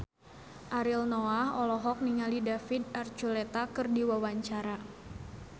Ariel Noah olohok ningali David Archuletta keur diwawancara